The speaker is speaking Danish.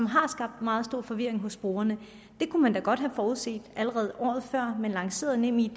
har skabt meget stor forvirring hos brugerne det kunne man da godt have forudset allerede året før man lancerede nemid